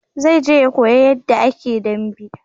Zai je ya koya yanda a ke dambe